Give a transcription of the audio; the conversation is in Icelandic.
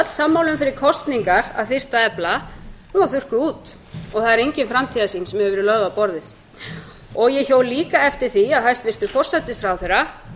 sammála um fyrir kosningar að þyrfti að efla hún var þurrkuð út og það er engin framtíðarsýn sem hefur verið lögð á borðið ég hjó líka eftir því að hæstvirtur forsætisráðherra